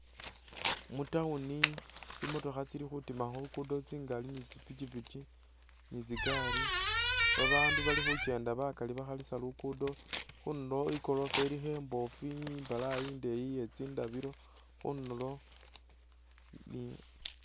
Mu town tsimotokha tsili khutiima khuluguudo tsingaali ni tsipikipiki ni tsigaari, babaandu bali khukenda bakaali bakhalisa luguudo, khundulo igoroofa ilikho imboofu imbalayi indeeyi iye tsindabilo khundulo ni...